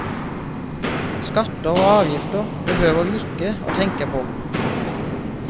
Skatter og avgifter behøvde vi ikke å tenke på.